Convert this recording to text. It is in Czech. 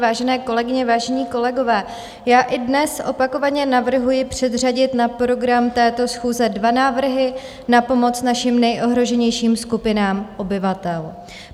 Vážené kolegyně, vážení kolegové, já i dnes opakovaně navrhuji předřadit na program této schůze dva návrhy na pomoc našim nejohroženějším skupinám obyvatel.